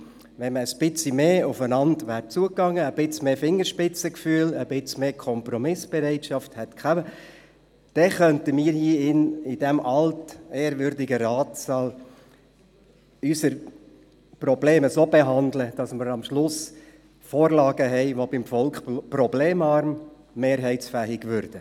Wenn man etwas mehr aufeinander zugegangen wäre, ein bisschen mehr Fingerspitzengefühl gezeigt hätte, ein wenig mehr Kompromissbereitschaft gehabt hätte, dann könnten wir in diesem altehrwürdigen Ratssaal unsere Probleme so behandeln, dass wir am Schluss Vorlagen haben, die beim Volk fast ohne Probleme mehrheitsfähig wären.